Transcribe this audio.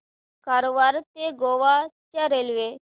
कारवार ते गोवा च्या रेल्वे